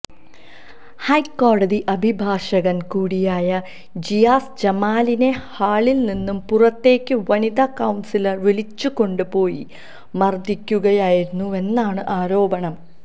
ഹൈക്കോടതി അഭിഭാഷകന് കൂടിയായ ജിയാസ് ജമാലിനെ ഹാളില് നിന്ന് പുറത്തേക്ക് വനിതാ കൌണ്സിലര് വിളിച്ചുകൊണ്ടു പോയി മര്ദിക്കുകയായിരുന്നുവെന്നാണ് ആരോപണം